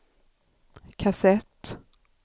kassett